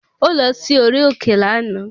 Ó lọ sí orí òkè lànà.